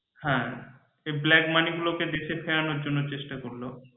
হ্যাঁ black money গুলোকে দেশের চেষ্টা করলো।